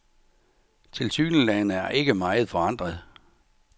Tilsyneladende er ikke meget forandret.